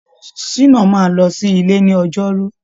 Ṣíná máa lọ sí ilé ní ọjọrú